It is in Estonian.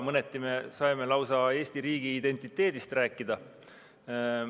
Mõneti me saime lausa Eesti riigi identiteedist rääkida.